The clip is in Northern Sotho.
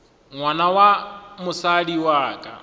ngwana wa mosadi wa ka